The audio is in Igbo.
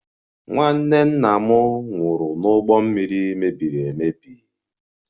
Nwanne nna m nwụrụ n'ụgbọ mmiri mebiri emebi